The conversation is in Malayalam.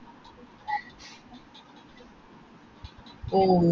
ആഹ് ആ നമുക്ക് botanical garden